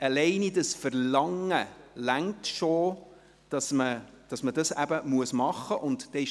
Dieses «Verlangen» allein reicht aus, damit man es machen muss.